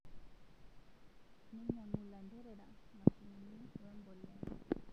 Neinyangu lanterera mashinini we mbolea